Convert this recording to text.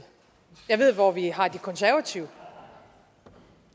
jeg ved hvor vi har de konservative og